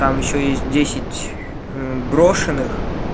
там ещё есть десять брошенных